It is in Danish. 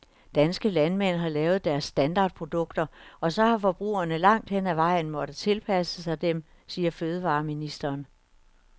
Danske landmænd har lavet deres standardprodukter, og så har forbrugerne langt hen ad vejen måttet tilpasse sig dem, siger fødevareministeren.